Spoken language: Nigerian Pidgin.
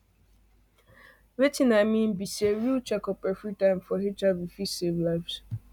watin i mean be sayreal checkup everytime for hiv fit save lives